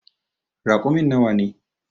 Raƙumin nawa ne.